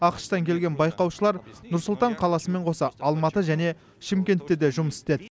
ақш тан келген байқаушылар нұр сұлтан қаласымен қоса алматы және шымкентте де жұмыс істеді